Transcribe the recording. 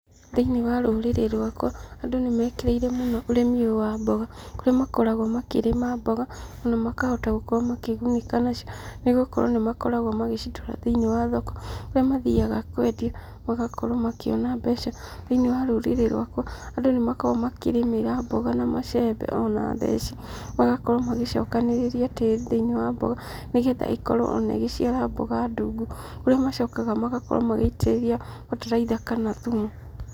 Thĩiniĩ wa rũrĩrĩ rwakwa, andũ nĩ mekĩrĩire mũno ũrĩmi ũyũ wa mboga, kũrĩa makoragwo makĩrĩma mboga na makahota gũkorwo makĩgunĩka nacio nĩ gũkorwo nĩ makoragwo magĩcitwara thĩiniĩ wa thoko kũrĩa mathiaga kũendia magakorwo makiona mbeca. Thĩiniĩ wa rũrĩrĩ rwakwa andũ nĩ makoragwo makĩrĩmĩra mboga na macembe ona theci magakorwo magĩcokanĩrĩria tĩri thĩiniĩ wa mboga nĩ getha ĩkorwo ona ĩgĩciara mboga ndungu, kũrĩa macokaga magakorwo magĩitĩrĩria bataraitha kana thumu.